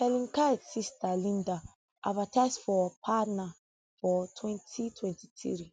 helen kite sister linda advertise for parner for twenty twenty three